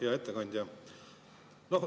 Hea ettekandja!